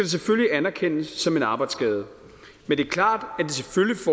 selvfølgelig anerkendes som en arbejdsskade men det er klart